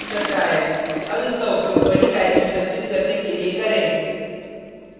अब इसका उपयोग बडी value संचित करने के लिए करें